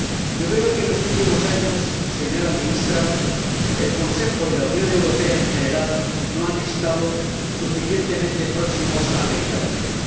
Yo creo que en los últimos años, señora Ministra, el Consejo y la Unión Europea en general no han estado suficientemente próximos a América Latina.